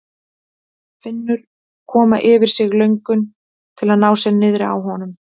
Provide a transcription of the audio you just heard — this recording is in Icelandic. Finnur koma yfir sig löngun til að ná sér niðri á honum.